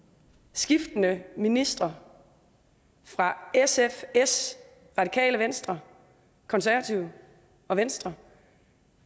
skiftende ministre fra sf s radikale venstre konservative og venstre